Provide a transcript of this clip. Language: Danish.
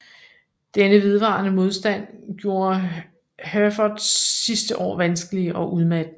Denne vedvarende modstand gjorde Herforths sidste år vanskelige og udmattende